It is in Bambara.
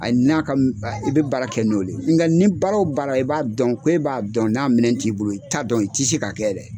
A n'a ka m ba i bi baara kɛ n'ole o. ni baara o baara i b'a dɔn ko e b'a dɔn n'a minɛn t'i bolo i t'a dɔn, i ti se k'a kɛ yɛrɛ.